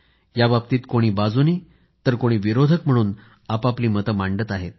याबाबतीत कोणी बाजूनं तर कोणी विरोधक म्हणून लोकं आपआपली मतं मांडत आहेत